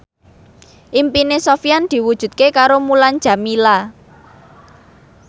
impine Sofyan diwujudke karo Mulan Jameela